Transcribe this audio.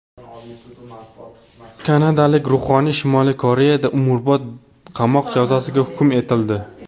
Kanadalik ruhoniy Shimoliy Koreyada umrbod qamoq jazosiga hukm etildi.